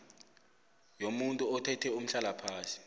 yomuntu othethe umhlalaphasi